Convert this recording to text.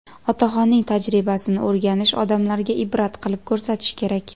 Otaxonning tajribasini o‘rganish, odamlarga ibrat qilib ko‘rsatish kerak.